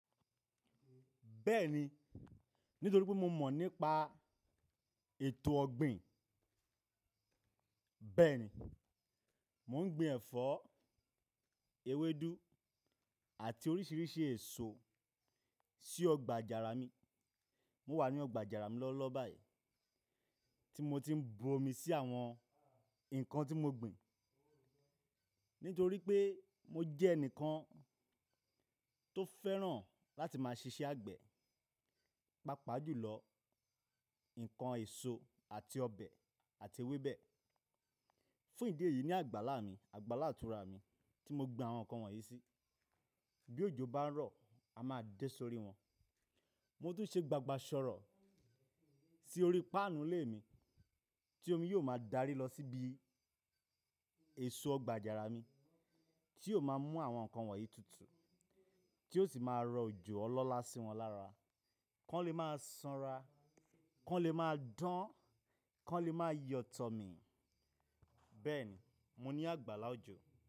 Bẹ́ẹ̀ni, nítorí pé mo mọ̀ nípa ètò ọ̀gbìn. Bẹ́ẹ̀ni, mo ń gbin ẹ̀fọ́, ewédú àti oríṣiríṣi èso sí ọgbà àjàrà mi. Mo wà ní ọgbà àjàrà mi lọ́wọ́lọ́wọ́ báyìí tí mo ti ń bu omi sí àwọn nǹkan tí mo ń gbìn. Nítorí pé mo jẹ́ ẹnìkan tó fẹ́ràn láti máa ṣiṣẹ́ àgbẹ̀, pàápàá jù lọ nǹkan èso àti ọbẹ̀ àti ewébẹ̀. Fún ìdí èyí ni àgbàlá mi, àgbàlá ìtura mi tí mo gbin àwọn nǹkan wọ̀nyí sí. Bí òjò bá ń rọ̀, a máa dé sórí wọn. Mo tún ṣe gbagbà sọ̀rọ̀ sí orí páànù ilé mi tí omi yóò máa darí lọ síbi èso ọgbà àjàrà mi tí yóò máa mú àwọn nǹkan wọ̀nyí tutù tí ó sì máa rọ òjò ọlọ́lá sí wọn lára. Kí wọ́n le máa sanra, Kí wọ́n le máa dán, Kí wọ́n le máa yọ̀ tọ̀ mi. Bẹ́ẹ̀ni, mo ní àgbàlá òjò.